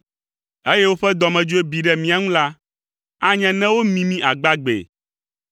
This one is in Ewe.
eye woƒe dɔmedzoe bi ɖe mía ŋu la, anye ne womi mí agbagbee,